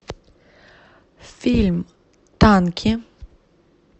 фильм танки